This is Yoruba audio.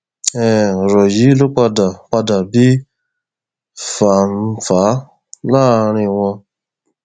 um ọrọ yìí ló padà padà bí fánfàá láàrin wọn